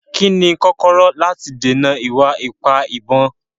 Kí ni kọ́kọ́rọ́ láti dènà ìwà ipá ìbọn?